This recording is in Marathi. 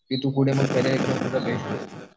की तू कुठे